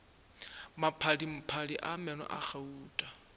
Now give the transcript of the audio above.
maphadiphadi a meno a gauta